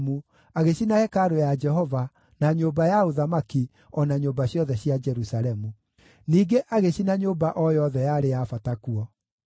agĩcina hekarũ ya Jehova, na nyũmba ya ũthamaki, o na nyũmba ciothe cia Jerusalemu. Ningĩ agĩcina nyũmba o yothe yarĩ ya bata kuo.